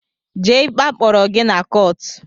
Jee ikpe a kpọrọ gị na kọọt!